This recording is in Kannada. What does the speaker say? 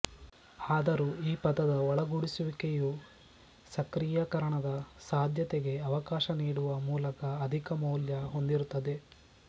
ಆದರೂ ಈ ಪದದ ಒಳಗೂಡಿಸುವಿಕೆಯು ಸಕ್ರಿಯಕರಣದ ಸಾಧ್ಯತೆಗೆ ಅವಕಾಶ ನೀಡುವ ಮೂಲಕ ಅಧಿಕ ಮೌಲ್ಯ ಹೊಂದಿರುತ್ತದೆ